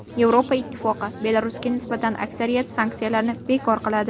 Yevropa Ittifoqi Belarusga nisbatan aksariyat sanksiyalarni bekor qiladi.